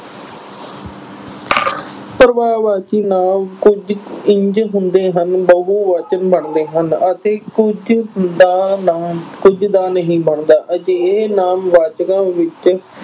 ਨਾਂਵ ਕੁਝ ਇੰਝ ਹੁੰਦੇ ਹਨ ਬਹੁਵਚਨ ਬਣਦੇ ਹਨ ਅਤੇ ਕੁਝ ਦਾ ਨਾਮ ਕੁਝ ਦਾ ਨਹੀਂ ਬਣਦਾ ਅਜਿਹੇ ਨਾਂਵਵਾਚਕਾਂ ਵਿੱਚ